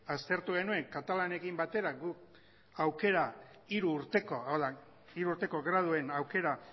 aztertu genuen katalanekin batera hiru urteko graduen aukera